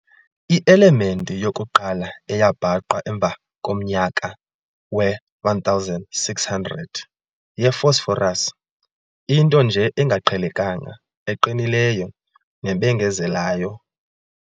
I-element yokuqala eyabhaqwa emva komnyaka we-1600 ye-phosphorus, into nje engaqhelekanga eqinileyo nebengezelayo.